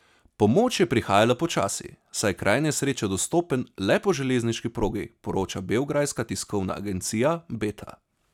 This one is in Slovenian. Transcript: Pomoč je prihajala počasi, saj je kraj nesreče dostopen le po železniški progi, poroča beograjska tiskovna agencija Beta.